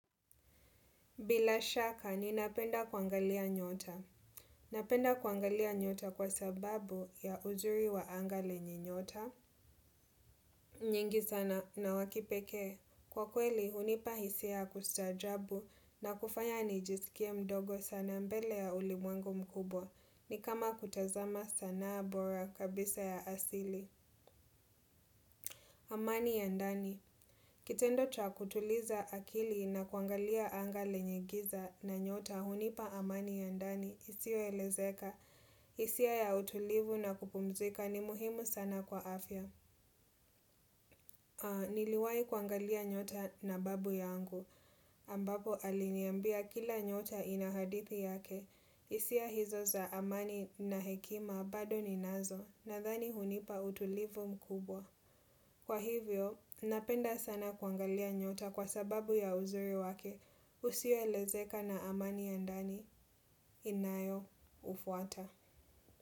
Bila shaka ninapenda kuangalia nyota. Napenda kuangalia nyota kwa sababu ya uzuri wa anga lenye nyota nyingi sana na wa kipekee. Kwa kweli unipa hisia ya kustaajabu na kufanya nijisikie mdogo sana mbele ya ulimwengu mkubwa. Ni kama kutazama sanaa bora kabisa ya asili. Amani ya ndani. Kitendo cha kutuliza akili na kuangalia anga lenye giza na nyota hunipa amani ya ndani isioelezeka, hisia ya utulivu na kupumzika ni muhimu sana kwa afya. Niliwahi kuangalia nyota na babu yangu. Ambapo aliniambia kila nyota ina hadithi yake. Hisia hizo za amani na hekima bado ninazo nathani unipa utulivu mkubwa. Kwa hivyo, napenda sana kuangalia nyota kwa sababu ya uzuri wake usioelezeka na amani ya ndani inayoufuata.